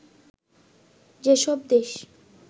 যে সব দেশ